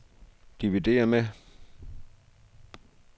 dividér med